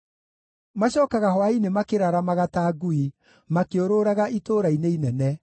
Macookaga hwaĩ-inĩ makĩraramaga ta ngui, makĩũrũraga itũũra-inĩ inene.